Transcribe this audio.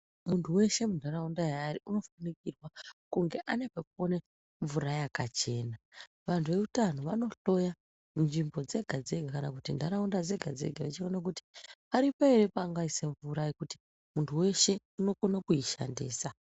Muntu weshe muntaraunda unofanikirwa kunge aine pekuone mvura yakachena. Vantu veutano vanohloya munzvimbo dzega dzega kana kuti ntaraunda dzega dzega chione kuti paripo ere paangaise mvura pekuti muntu weshe unokone kuishandisa.